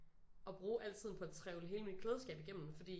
At bruge al tiden på et trevle hele mit klædeskab igennem fordi